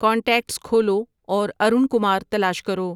contacts کھولو اور ارون کمار تلاش کرو